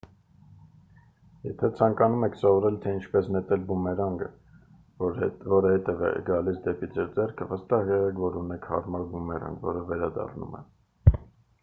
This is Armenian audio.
եթե ցանկանում եք սովորել թե ինչպես նետել բումերանգը որը հետ է գալիս դեպի ձեր ձեռքը վստահ եղեք որ ունեք հարմար բումերանգ որը վերադառնում է